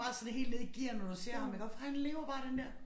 Bare sådan helt ned i gear når du ser ham iggå for han lever bare den der